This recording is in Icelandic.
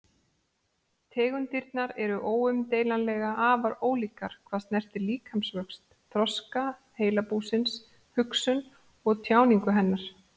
Tegundirnar eru óumdeilanlega afar ólíkar hvað snertir líkamsvöxt, þroska heilabúsins, hugsun og tjáningu hennar.